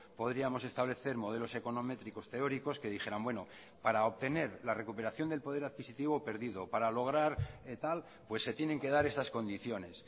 podríamos establecer modelos econométricos teóricos que dijeran bueno para obtener la recuperación del poder adquisitivo perdido para lograr tal se tienen que dar estas condiciones